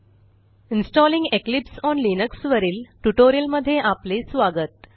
installing Eclipse on Linux वरील ट्युटोरियलमध्ये आपले स्वागत